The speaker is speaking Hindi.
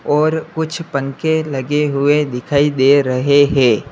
और कुछ पंख लगे हुए दिखाई दे रहे है।